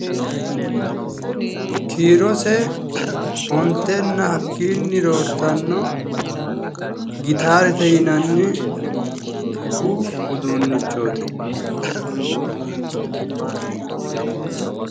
Kiirose ontenna hakkiinni roortanno gitaarete yinanni muuziiqu uduunnichooti.